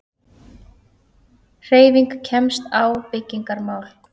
HREYFING KEMST Á BYGGINGARMÁL